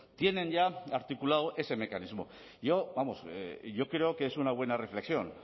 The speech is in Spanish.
tienen ya articulado ese mecanismo yo vamos yo creo que es una buena reflexión